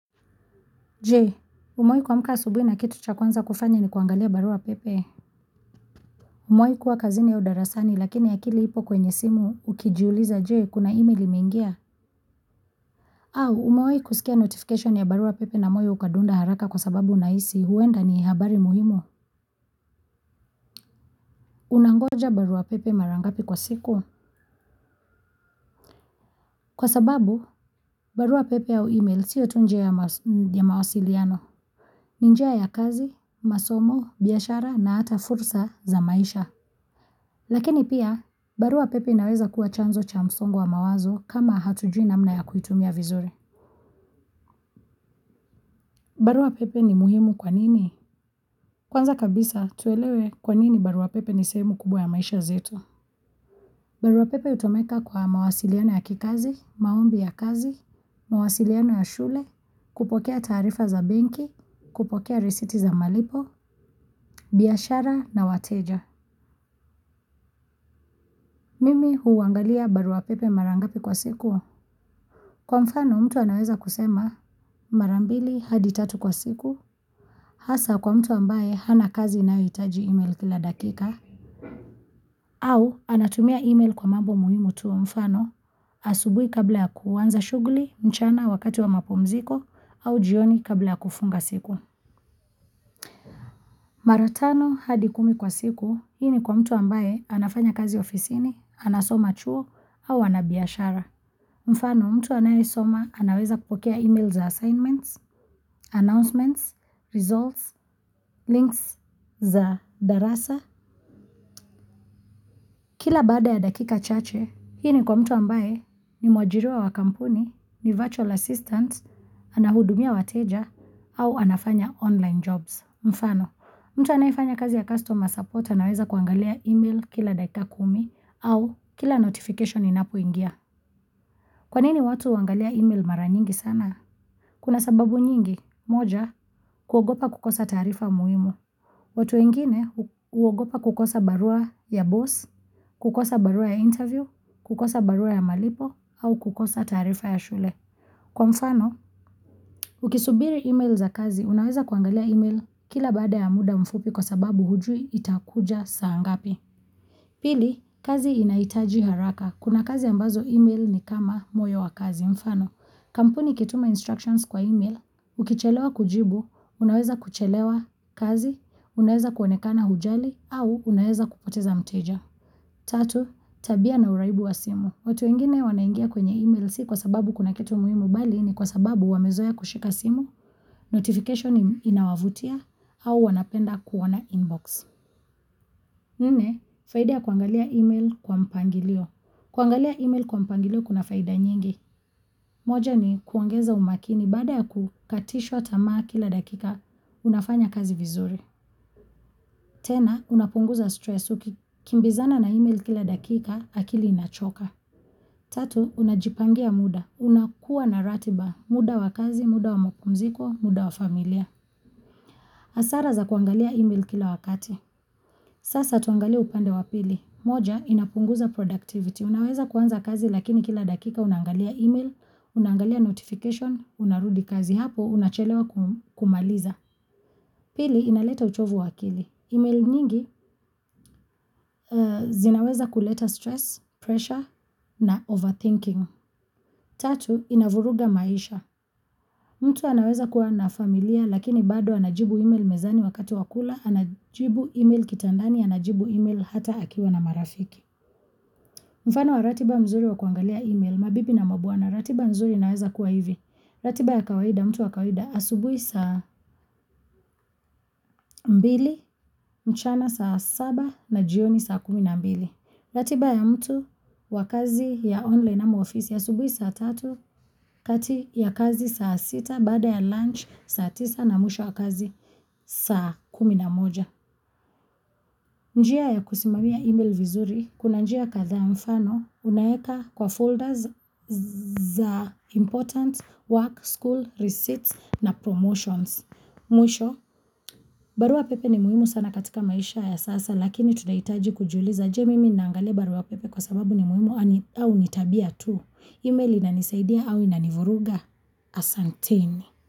Je, umewahi kuamka asubuhi na kitu cha kwanza kufanya ni kuangalia barua pepe? Umewahi kuwa kazini au darasani lakini akili ipo kwenye simu, ukijiuliza je, kuna email imengia? Au, umewahi kusikia notification ya barua pepe na moyo ukadunda haraka kwa sababu unahisi huenda ni habari muhimu? Unangoja barua pepe mara ngapi kwa siku? Kwa sababu barua pepe au email sio tu njia ya mawasiliano ni njia ya kazi, masomo, biashara, na hata fursa za maisha Lakini pia, barua pepe inaweza kuwa chanzo cha msongo wa mawazo, kama hatujui namna ya kuitumia vizuri. Barua pepe ni muhimu kwa nini? Kwanza kabisa, tuelewe kwa nini barua pepe ni sehemu kubwa ya maisha zetu. Barua pepe hutumika kwa mawasiliano ya kikazi, maombi ya kazi, mawasiliano ya shule, kupokea taarifa za benki, kupokea risiti za malipo, biashara na wateja. Mimi huangalia barua pepe mara ngapi kwa siku? Kwa mfano, mtu anaweza kusema mara mbili hadi tatu kwa siku, hasa kwa mtu ambaye hana kazi inayohitaji email kila dakika au anatumia email kwa mambo muhimu tu mfano asubuhi kabla ya kuanza shughuli, mchana wakati wa mapumziko au jioni kabla ya kufunga siku. Mara tano hadi kumi kwa siku, hii ni kwa mtu ambaye, anafanya kazi ofisini, anasoma chuo au ana biashara. Mfano, mtu anayesoma anaweza kupokea email za assignments, announcements, results, links za darasa. Kila baada ya dakika chache, hii ni kwa mtu ambaye ni mwajiriwa wa kampuni, ni virtual assistant, anahudumia wateja, au anafanya online jobs. Mfano, mtu anayefanya kazi ya customer support anaweza kuangalia email kila dakika kumi au kila notification inapoingia. Kwa nini watu huangalia email mara nyingi sana? Kuna sababu nyingi, moja, kuogopa kukosa taarifa muhimu. Watu wengine, huogopa kukosa barua ya boss, kukosa barua ya interview, kukosa barua ya malipo, au kukosa taarifa ya shule. Kwa mfano, ukisubiri email za kazi, unaweza kuangalia email kila baada ya muda mfupi kwa sababu hujui itakuja saa ngapi. Pili, kazi inaitaji haraka. Kuna kazi ambazo email, ni kama moyo wa kazi. Mfano, kampuni ikituma instructions kwa email, ukichelewa kujibu, unaweza kuchelewa kazi, unaweza kuonekana hujali, au unaweza kupoteza mteja. Tatu, tabia na uraibu wa simu. Watu wengine wanaingia kwenye email, si kwa sababu kuna kitu muhimu, mbali ni kwa sababu wamezeoa kushika simu, notification inawavutia, au wanapenda kuona inbox. Nne, faidia kuangalia email kwa mpangilio. Kuangalia email kwa mpangilio kuna faida nyingi. Moja ni kuongeza umakini, baada ya kukatishwa tamaa kila dakika, unafanya kazi vizuri. Tena, unapunguza stress uki kimbizana na email kila dakika, akili inachoka. Tatu, unajipangia muda. Unakuwa na ratiba, muda wakazi, muda wa mupumziko, muda wa familia. Hasara za kuangalia email kila wakati. Sasa tuangalie upande wa pili. Moja, inapunguza productivity. Unaweza kuanza kazi lakini kila dakika unangalia email, unangalia notification, unarudi kazi, hapo unachelewa kumaliza. Pili, inaleta uchovu wa akili. Email nyingi, zinaweza kuleta stress, pressure, na overthinking. Tatu, inavuruga maisha. Mtu anaweza kuwa na familia, lakini bado anajibu email mezani wakati wa kula, anajibu email kitandani, anajibu email hata akiwa na marafiki. Mfano wa ratiba mzuri wa kuangalia email, mabibi na mabwana, ratiba mzuri inaweza kuwa hivi. Ratiba ya kawaida mtu wa kawaida asubuhi saa mbili, mchana saa saba na jioni saa kumi na mbili. Ratiba ya mtu wa kazi ya online na ofisi asubuhi saa tatu, kati ya kazi saa sita, baada ya lunch, saa tisa, na mwisho wa kazi saa kumi na moja. Njia ya kusimamia email vizuri, kuna njia kadhaa, mfano unaweka kwa folders za important, work, school, receipts, na promotions. Mwisho, barua pepe ni muhimu sana katika maisha ya sasa, lakini tunahitaji kujuliza, je, mimi naangalia barua pepe kwa sababu ni muhimu au ni tabia tu? Email inanisaidia au inanivuruga? Asanteni.